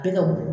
Bi ka wulu